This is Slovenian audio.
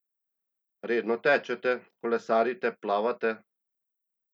Redno tečete, kolesarite, plavate?